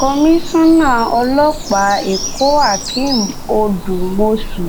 kọmísánnà ọlọ́pàá èkó hakeem odúmọṣù